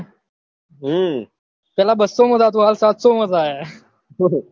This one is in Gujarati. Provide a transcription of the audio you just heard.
પેલા બસો માં થતું હવે સાતસો માં થાય હે